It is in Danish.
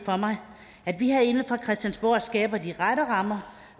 for mig at vi herinde fra christiansborgs side skaber de rette rammer